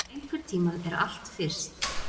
Einhvern tímann er allt fyrst